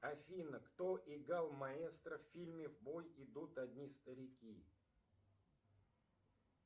афина кто играл маэстро в фильме в бой идут одни старики